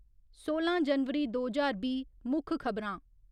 सोलां जनवरी दो ज्हार बीह् मुक्ख खब'रां